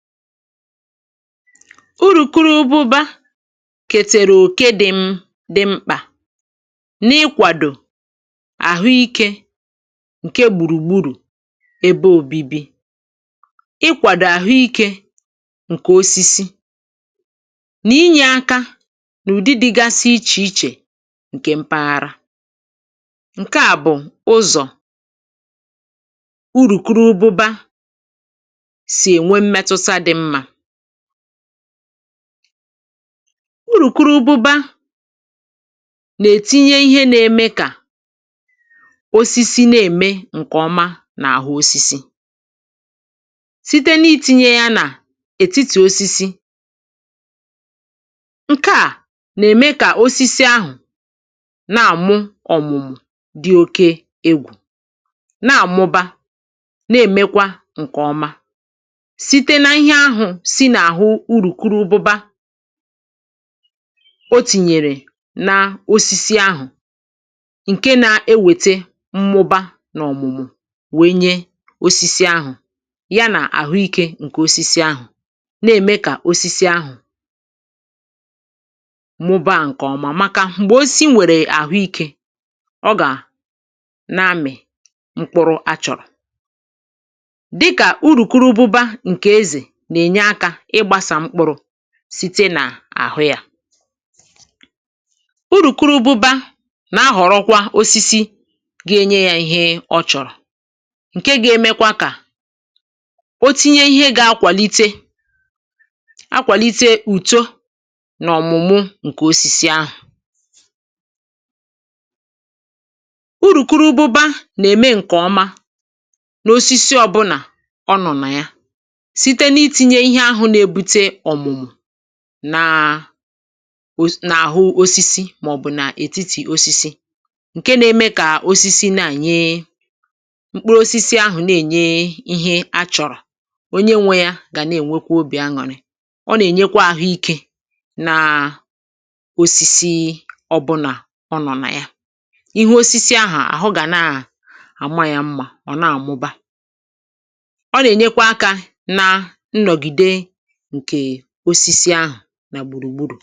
Urùkurubụba kètèrè òke dị̇ m dị̇ mkpà n’ịkwàdò̀ àhụ ikė ǹke gbùrùgburù ebe òbibi, ịkwàdò̀ àhụ ikė ǹkè osisi, nà inyė aka nà ụ̀dị dị̇gasị ichè ichè ǹkè mpaghara, ǹke à bụ̀ ụzọ̀ urùkurubụba si enwe mmetụta dị mma, urùkurubụba nà-ètinye ihe n’ėmė kà osisi nà-ème ǹkè ọma nà-àhụ osisi site n’iti̇nyė yȧ nà ètiti̇ osisi, ǹkè à nà-ème kà osisi ahụ̀ na-àmụ ọ̀mụ̀mụ̀ dị̇ oke egwù na-àmụba na-èmekwa ǹkè ọma site na ihe ahụ si n’àhụ urùkurubụba o tìnyèrè n’osisi ahụ̀ ǹke nȧ-ewète mmụbȧ n’ọ̀mụ̀mụ̀ wènye osisi ahụ̀ ya nà àhụ ikė ǹkè osisi ahụ̀ nà-ème kà osisi ahụ̀ mụ̀bȧ a ǹkè ọmà maka mgbe osisi nwèrè àhụ ikė ọ gà na-amị̀ mkpụrụ a chọ̀rọ̀, dịkà urùkurubụba ǹkè ezè na enye aka igbasa mkpụrụ site n’àhụ yȧ, urùkurubụba nà-ahọ̀rọkwa osisi gaa enye yȧ ihe ọ chọ̀rọ̀ ǹke ga-emekwa kà o tinye ihe ga-akwàlite akwàlite ùto n’ọ̀mụ̀mụ ǹkè osisi ahụ̀, urùkurubụba na eme nkè ọma ná osisi obula ònò na ya site na itinye ihe ahụ na ebute ọmụmụ nà nà-àhụ osisi màọ̀bụ̀ nà ètitì osisi ǹke nȧ-eme kà osisi na-ènye mkpụrụ osisi ahụ̀ na-ènye ihe a chọ̀rọ̀ onye nwȧ yȧ gà na-ènwekwa obì añụ̀rị ọ nà-ènyekwa àhụ ikė na osisi ọbụnà ọnọ̀ nà ya ihu osisi ahụ̀ àhụ gà na àma yȧ mmȧ ọ̀ na-àmụba, ọna enyekwa aka ṅa ṅnogide nke osisi ahu nà gbùrùgbùrù.